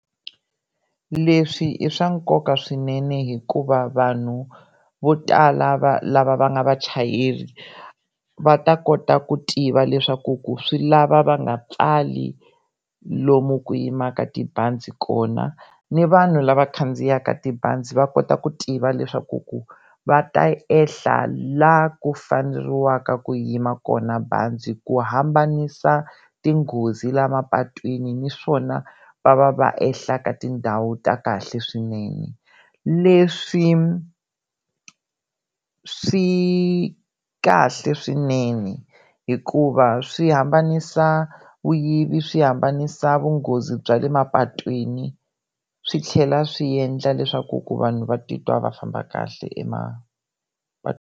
Leswi i swa nkoka swinene hikuva vanhu vo tala va lava va nga vachayeri va ta kota ku tiva leswaku ku swi lava va nga pfali lomu ku yimaka tibazi kona ni vanhu lava khandziyaka tibazi va kota ku tiva leswaku ku va ta ehla la ku faneriwaka ku yima kona bazi ku hambanisa tinghozi la mapatwini naswona va va va ehla eka tindhawu ta kahle swinene, leswi swi kahle swinene hikuva swi hambanisa vuyivi swi hambanisa vunghozi bya le mapatwini swi tlhela swi endla leswaku ku vanhu va titwa va famba kahle .